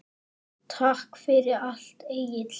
Takk fyrir allt, Egill.